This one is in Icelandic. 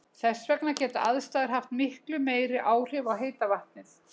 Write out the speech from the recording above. Þess vegna geta aðstæður haft miklu meiri áhrif á heita vatnið.